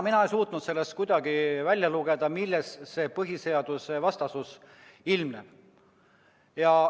Mina ei suutnud kuidagi välja lugeda, milles see põhiseadusvastasus ilmneb.